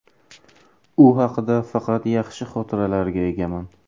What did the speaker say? U haqida faqat yaxshi xotiralarga egaman.